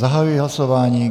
Zahajuji hlasování.